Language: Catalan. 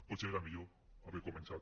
potser era millor haver començat